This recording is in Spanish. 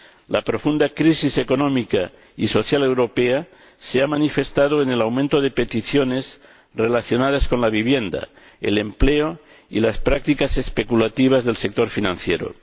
La profunda crisis económica y social europea se ha manifestado en el aumento de peticiones relacionadas con la vivienda, el empleo y las prácticas especulativas del sector financiero.